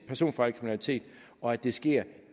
personfarlig kriminalitet og at det sker